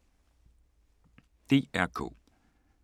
DR K